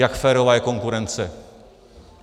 Jak férová je konkurence.